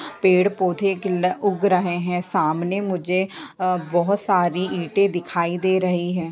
पेड़ पौधे की लग उग रहे है सामने मुझे अ बहुत सारी ईंटे दिखाई दे रही है।